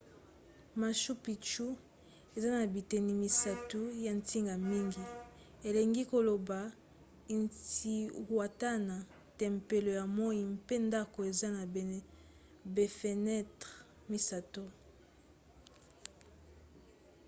machu picchu eza na biteni misato ya ntina mingi elingi koloba intihuatana tempelo ya moi mpe ndako eza na bafenetre misato